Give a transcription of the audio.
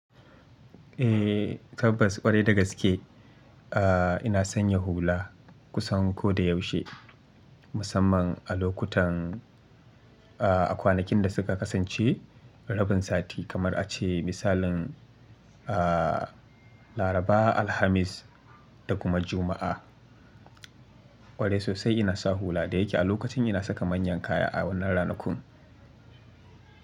Eh, tabbas ƙwarai dagaske. Aaa ina sanya hula kusan ko da yaushe musamman a lokutan a kwanakin da suka kasance rabin sati kamar ace misalin a laraba, alhamis da kuma juma'a. Ƙwarai sosai ina sa hula da yake a lokacin ina saka manyan kaya a wannan ranakun.